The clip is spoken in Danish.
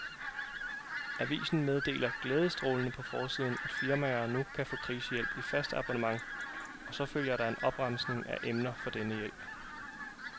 Avisen meddeler glædestrålende på forsiden, at firmaer nu kan få krisehjælp i fast abonnement, og så følger der en opremsning af emner for denne hjælp.